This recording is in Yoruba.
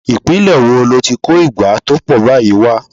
Ìpínlè wo lo ti kó ìgbá tó pọ̀ báyìí wà?